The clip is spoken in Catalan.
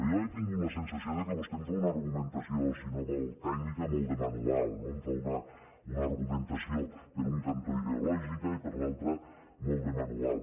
jo he tingut la sensació que vostè em fa una argumentació si no vol tècnica molt de manual no em fa una argumentació per un cantó ideològica i per l’altre molt de manual